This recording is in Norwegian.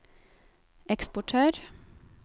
eksportør